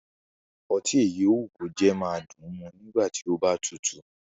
Ọtí èyí ó wù kó jẹ́ máa dùn mu nígbà tí ó bá tutù